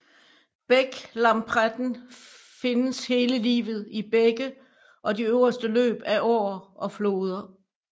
Bæklampretten findes hele livet i bække og de øverste løb af åer og floder